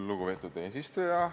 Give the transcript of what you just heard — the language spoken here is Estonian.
Lugupeetud eesistuja!